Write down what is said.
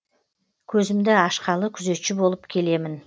көзімді ашқалы күзетші болып келемін